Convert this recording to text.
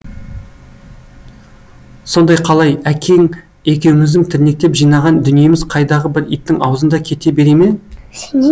сонда қалай әкең екеуміздің тірнектеп жинаған дүниеміз қайдағы бір иттің аузында кете бере ме